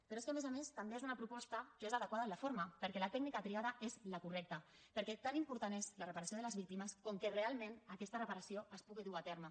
però és que a més a més també és una proposta que és adequada en la forma perquè la tècnica triada és la correcta perquè tan important és la reparació de les víctimes com que realment aquesta reparació es pugui dur a terme